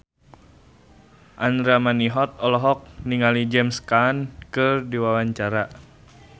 Andra Manihot olohok ningali James Caan keur diwawancara